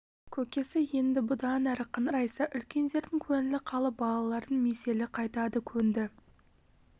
көкесі енді бұдан әрі қыңырайса үлкендердің көңілі қалып балалардың меселі қайтады көнді